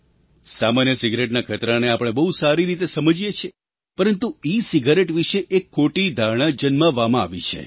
સામાન્ય સિગારેટના ખતરાને આપણે બહુ સારી રીતે સમજીએ છીએ પરંતુ ઇસિગારેટ વિશે એક ખોટી ધારણા જન્માવામાં આવી છે